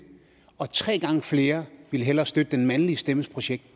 og tre gange flere ville hellere støtte den mandlige stemmes projekt